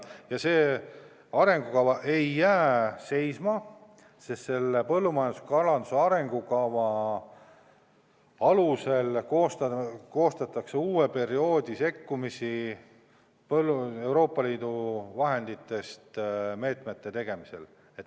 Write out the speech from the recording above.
Ja see arengukava ei jää seisma, sest põllumajanduse ja kalanduse arengukava alusel koostatakse uue perioodi sekkumisi Euroopa Liidu vahenditest meetmete tegemisel.